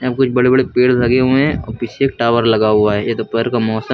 कुछ बड़े बड़े पेड़ लगे हुए हैं और पीछे एक टावर लगा हुआ है यह दोपहर का मौसम है।